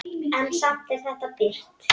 En samt er þetta birt.